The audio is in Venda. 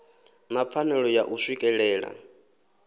na pfanelo ya u swikelela